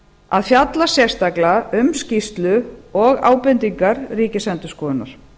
að fjalla sérstaklega um skýrslu og ábendingar ríkisendurskoðunar